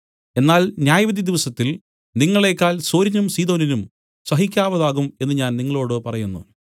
എന്നാൽ ന്യായവിധിദിവസത്തിൽ നിങ്ങളേക്കാൾ സോരിനും സീദോനും സഹിക്കാവതാകും എന്നു ഞാൻ നിങ്ങളോടു പറയുന്നു